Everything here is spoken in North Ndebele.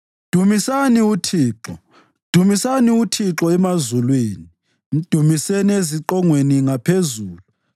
Dumisani uThixo. Dumisani uThixo emazulwini, mdumiseni eziqongweni ngaphezulu.